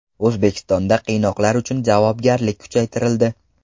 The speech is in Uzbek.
O‘zbekistonda qiynoqlar uchun javobgarlik kuchaytirildi.